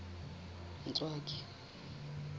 ntswaki